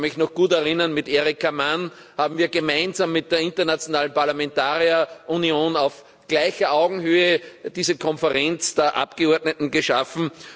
Ich kann mich noch daran gut erinnern, mit Erika Mann haben wir gemeinsam mit der internationalen Parlamentarierunion auf gleicher Augenhöhe diese Konferenz der Abgeordneten geschaffen.